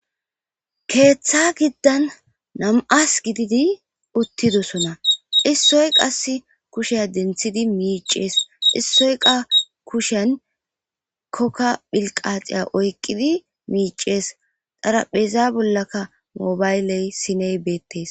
keeththa giddan nam'as gididi uttidosona issoy qas kushe denthidi miicees issoyka kushen kokka philqaxiya oyqqidi miicees xarapheeza bollaka mobayley siney beettes